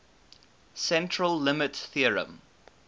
central limit theorem